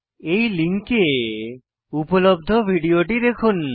এই লিঙ্কে উপলব্ধ ভিডিওটি দেখুন